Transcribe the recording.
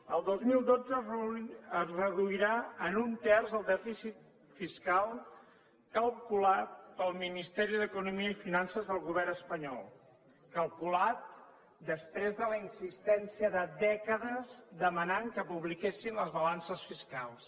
el dos mil dotze es reduirà en un terç el dèficit fiscal calculat pel ministeri d’economia i finances del govern espanyol calculat després de la insistència de dècades demanant que publiquessin les balances fiscals